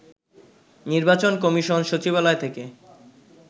নির্বাচন কমিশন সচিবালয় থেকে